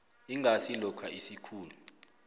ingasi lokha isikhulu